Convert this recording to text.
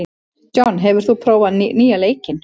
John, hefur þú prófað nýja leikinn?